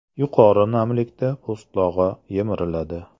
Yuqori namlikda po‘stlog‘i yemiriladi.